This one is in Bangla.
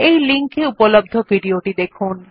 এই লিঙ্ক এ উপলব্ধ ভিডিও টি দেখুন